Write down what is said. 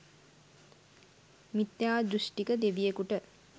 මිථ්‍යා දෘෂ්ටික දෙවියකුට